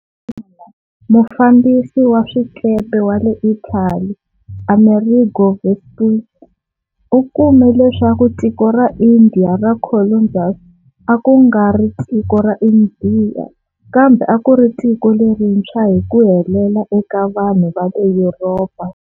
Endzhakunyana, mufambisi wa swikepe wa le Italy, Amerigo Vespucci, u kume leswaku tiko ra India ra Columbus a ku nga ri tiko ra Indiya kambe a ku ri tiko lerintshwa hi ku helela eka vanhu va le Yuropa.